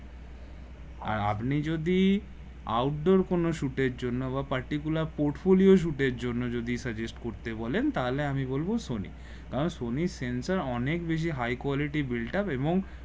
আর আপনি যদি outdoor কোন shoot এর জন্য বা particular portfolio জন্য যদি suggest করতে বলেন তা হলে আমি বলবো সনি আহ সনি সেন্সার অনেক বেশি high quality built up এবং